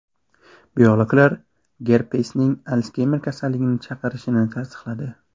Biologlar gerpesning Alsgeymer kasalligini chaqirishini tasdiqladi.